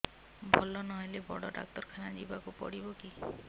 ଭଲ ନହେଲେ ବଡ ଡାକ୍ତର ଖାନା ଯିବା କୁ ପଡିବକି